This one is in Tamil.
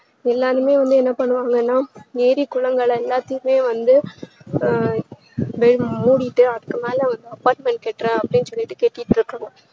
எல்லாருமே வந்து என்ன பண்ணுவாங்கனா ஏறி குளங்கள் எல்லாத்தயுமே வந்து ஆஹ் மேல மூடிட்டு அதுக்கு மேல வந்து apartment கற்ற அப்டின்னு சொல்லிட்டு கட்டிட்டு இருக்காங்க